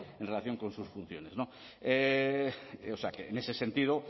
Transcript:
en relación con sus funciones o sea que en ese sentido